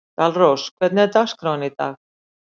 Dalrós, hvernig er dagskráin í dag?